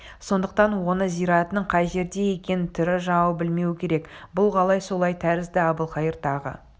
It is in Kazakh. сондықтан оның зиратының қай жерде екенін тірі жауы білмеуі керек бұл қалай солай тәрізді әбілқайыр тағы